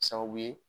Sababu ye